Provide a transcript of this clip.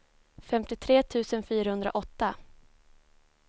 femtiotre tusen fyrahundraåtta